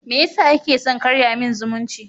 Meyasa kike son karya min zumunci?